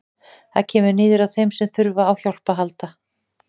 Það kemur niður á þeim sem þurfa á hjálp að halda.